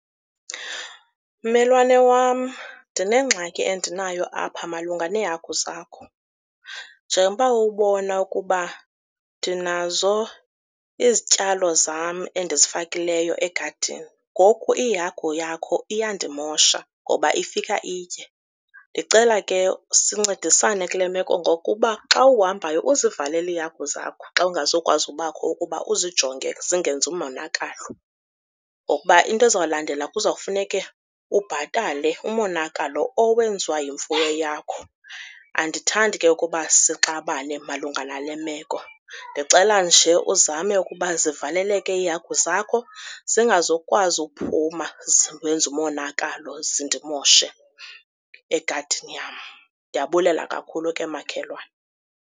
Mmelwane wam, ndinengxaki endinayo apha malunga neehagu zakho. Njengoba ubona ukuba ndinazo izityalo zam endizifakileyo egadini. Ngoku iihagu yakho iyandimosha ngoba ifika itye. Ndicela ke sincedisane kule meko ngokuba xa uhambayo uzivalele iihagu zakho xa ungazukwazi ubakho ukuba uzijonge zingenzi monakalo. Ngokuba into ezawulandela kuzawufuneke ubhatale umonakalo owenziwa yimfuyo yakho. Andithandi ke ukuba sixabane malunga nale meko. Ndicela nje uzame ukuba zivaleleke iihagu zakho zingazukwazi ukuphuma zenze umonakalo, zindimoshe egadini yam. Ndiyabulela kakhulu ke, makhelwane.